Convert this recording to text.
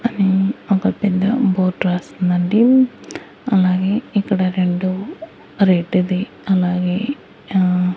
అది ఒక పెద్ద బోర్డ్ రాసుందండి అలాగే ఇక్కడ రెండు రెడ్డు ది అలాగే ఆ--